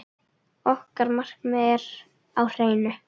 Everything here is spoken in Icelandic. Okkar markmið er á hreinu.